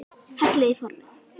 Hellið í formið.